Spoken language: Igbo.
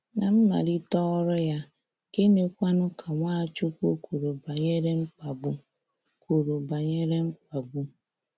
Ná mmalite ọrụ ya, gịnịkwanu ka Nwachukwu kwuru banyere mkpagbu? kwuru banyere mkpagbu?